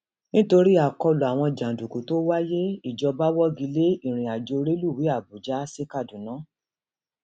nítorí àkọlù àwọn jàǹdùkú tó wáyé ìjọba wọgi lé ìrìnàjò rélùwéè àbújá sí kaduna